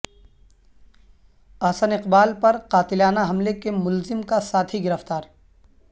احسن اقبال پر قاتلانہ حملے کے ملزم کا ساتھی گرفتار